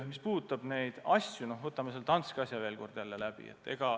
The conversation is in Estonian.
Mis puudutab neid asju – noh, võtame selle Danske juhtumi veel kord läbi.